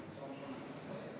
Aitäh!